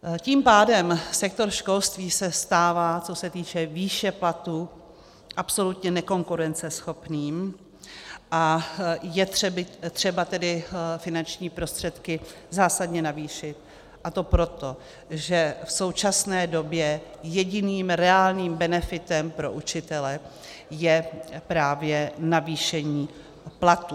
Tím pádem sektor školství se stává, co se týče výše platů, absolutně nekonkurenceschopným, a je třeba tedy finanční prostředky zásadně navýšit, a to proto, že v současné době jediným reálným benefitem pro učitele je právě navýšení platů.